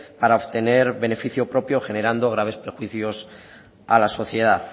para obtener beneficio propio generando graves perjuicios a la sociedad